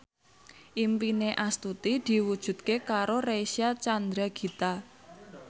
impine Astuti diwujudke karo Reysa Chandragitta